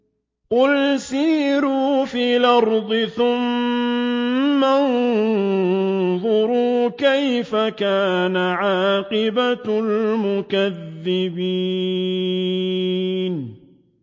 قُلْ سِيرُوا فِي الْأَرْضِ ثُمَّ انظُرُوا كَيْفَ كَانَ عَاقِبَةُ الْمُكَذِّبِينَ